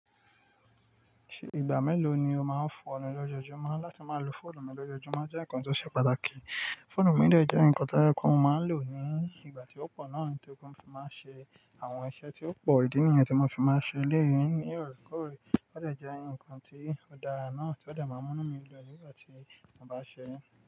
Ṣé ìgbà mélòó ni o máa ń fọ̀nù lọ́jọ́júmọ́? Láti máa lo fóònù mi lọ́jọ́júmọ́ jẹ́ nǹkan tó ṣe pàtàkì. Fóònù mi jẹ́ nǹkan táyẹ kún mo máa ń lò ní ìgbà tí ó pọ̀ náà, tí ókú ń fi máa ń ṣe àwọn iṣẹ́ tí ó pọ̀. Ìdí nìyẹn tí mo fi máa ń ṣe eléyii ní òreekore. Ó dà jẹ́ ǹkan tí ó dára náà tí ó dà máa ń mú mí lódù nígbà tí mo bá ṣe é.